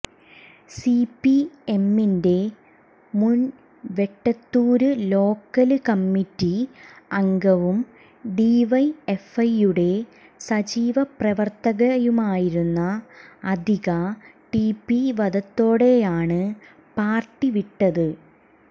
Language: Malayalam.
സിപിഎമ്മിന്റെ മുന് വെട്ടത്തൂര് ലോക്കല് കമ്മറ്റി അംഗവും ഡിവൈഎഫ്ഐയുടെ സജീവ പ്രവര്ത്തകയുമായിരുന്ന അതിക ടിപി വധത്തോടെയാണ് പാര്ട്ടി വിട്ടത്